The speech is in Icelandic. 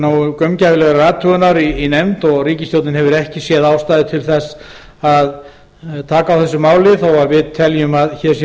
nógu gaumgæfilegrar athugunar í nefnd og ríkisstjórnin hefur ekki séð ástæðu til þess að taka á þessu máli þó við teljum að hér sé um